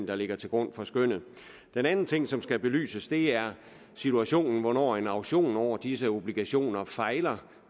der ligger til grund for skønnet den anden ting som skal belyses er situationen når en auktion over disse obligationer fejler